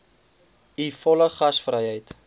u volle gasvryheid